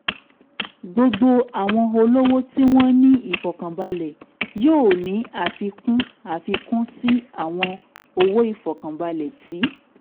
gbogbo àwọn olówó tí wọ́n ní ìfọ̀kànbalẹ̀ yóò ní àfikún àfikún sí àwọn owó ìfọ̀kànbalẹ̀ tí